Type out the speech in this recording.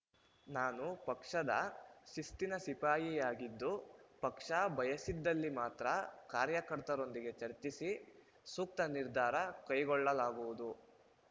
ನಾನು ಪಕ್ಷದ ಶಿಸ್ತಿನ ಸಿಪಾಯಿಯಾಗಿದ್ದು ಪಕ್ಷ ಬಯಸಿದಲ್ಲಿ ಮಾತ್ರ ಕಾರ್ಯಕರ್ತರೊಂದಿಗೆ ಚರ್ಚಿಸಿ ಸೂಕ್ತ ನಿರ್ಧಾರ ಕೈಗೊಳ್ಳಲಾಗುವುದು